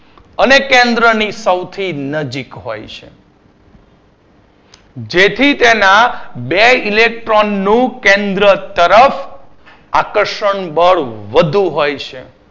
અને કેન્દ્રની સૌથી નજીક હોય છે જેથી તેના બે electron નું કેન્દ્ર તરફ આકર્ષણ બળ વધુ હોય છે